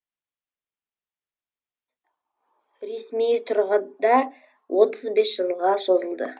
ресми тұрғыда отыз бес жылға созылды